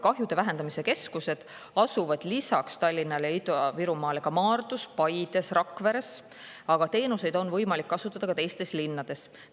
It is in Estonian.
Kahjude vähendamise keskused asuvad lisaks Tallinnale ja Ida-Virumaale ka Maardus, Paides ja Rakveres, aga teenuseid on võimalik kasutada ka teistes linnades.